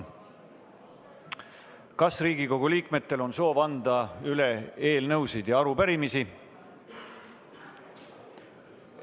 Kas Riigikogu liikmetel on soovi anda üle eelnõusid ja arupärimisi?